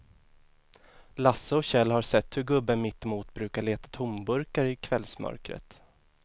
Lasse och Kjell har sett hur gubben mittemot brukar leta tomburkar i kvällsmörkret.